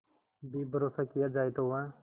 भी भरोसा किया जाए तो वह